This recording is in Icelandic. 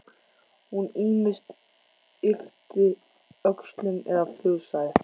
Hún ýmist yppti öxlum eða fussaði.